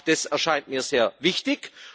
Auch das erscheint mir sehr wichtig.